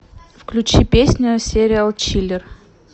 включи песню сериал чиллер